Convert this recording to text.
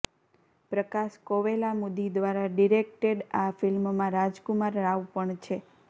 પ્રકાશ કોવેલામુદી દ્વારા ડિરેક્ટેડ આ ફિલ્મમાં રાજકુમાર રાવ પણ છે